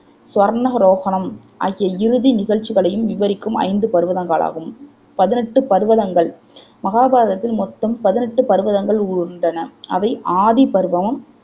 சுவர்னகரோகணம் ஆகிய இறுதி நிகழ்ச்சிகளையும் விவரிக்கும் ஐந்து பர்வதங்கள் ஆகும் பதினெட்டு பர்வதங்கள் மகாபாரதத்தில் மொத்தம் பதினெட்டு பர்வதங்கள் உள்ளன அவை ஆதி பர்பவம்